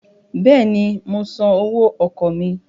Bẹ́ẹ̀ni, mo san owó ọkọ̀ mí.